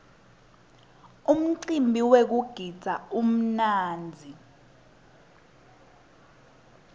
umcimbi wekugidza umnandzi